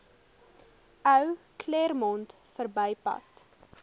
ou claremont verbypad